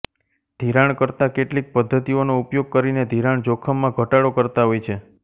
ધિરાણકર્તા કેટલીક પદ્ધતિઓનો ઉપયોગ કરીને ધિરાણ જોખમમાં ઘટાડો કરતા હોય છેઃ